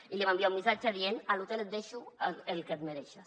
i li va enviar un missatge dient a l’hotel et deixo el que et mereixes